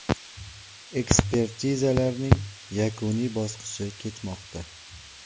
Ekspertizalarning yakuniy bosqichi ketmoqda.